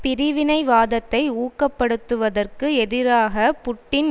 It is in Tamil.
பிரிவினைவாதத்தை ஊக்கப்படுத்துவதற்கு எதிராக புட்டின்